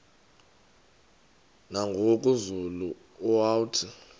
nangoku zulu uauthi